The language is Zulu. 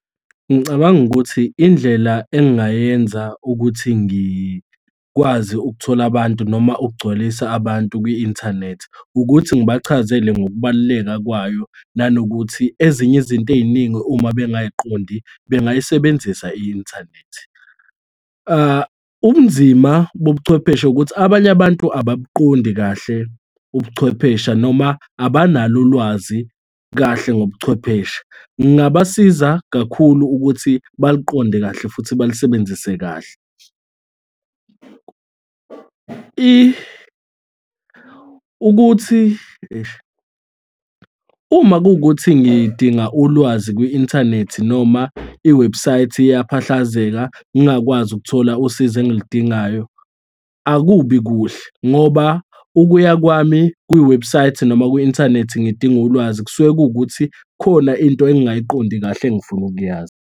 Ngicabanga ukuthi indlela engingayenza ukuthi ngikwazi ukuthola abantu noma ukugcwalisa abantu kwi-inthanethi, ukuthi ngibachazele ngokubaluleka kwayo nanokuthi ezinye izinto ey'ningi, uma bengayiqondi bengayisebenzisa i-inthanethi. Ubunzima bobuchwepheshe ukuthi abanye abantu ababuqondi kahle ubuchwepheshe noma abanalo ulwazi kahle ngobuchwepheshe. Ngingabasiza kakhulu ukuthi baliqonde kahle futhi balisebenzise kahle. Ukuthi eish. Uma kuwukuthi ngidinga ulwazi kwi-inthanethi, noma iwebhusayithi iyaphahlakazeka ngingakwazi ukuthola usizo engiludingayo, akubi kuhle ngoba ukuya kwami kwiwebhusayithi noma kwi-inthanethi ngidinga ulwazi, kusuke kuwukuthi khona into engingayiqondi kahle engifuna ukuyazi.